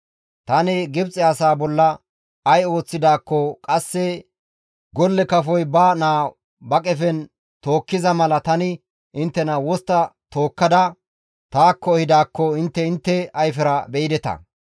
‹Tani Gibxe asaa bolla ay ooththidaakko qasse golle kafoy ba naa ba qefen tookkiza mala tani inttena wostta tookkada taakko ehidaakko intte intte ayfera beyideta.